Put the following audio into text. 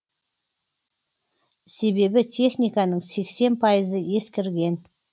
себебі техниканың сексен пайызы ескірген